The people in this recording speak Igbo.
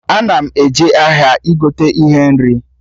Ana m eje ahịa igote ihe nri